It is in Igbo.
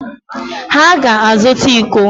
Ha ga-azụta íkó